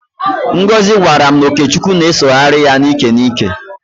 Ngozị gwara m na ọkechukwu na-esogharị ya n'íkè n'íkè.